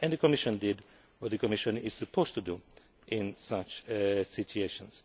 The Commission did what the Commission is supposed to do in such situations.